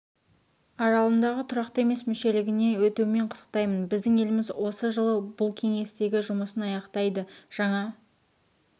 аралығында тұрақты емес мүшелігіне өтуімен құттықтаймын біздің еліміз осы жылы бұл кеңестегі жұмысын аяқтайды жаңа